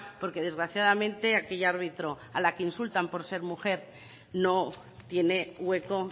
porque desgraciadamente aquella árbitro a la que insultan por ser mujer no tiene hueco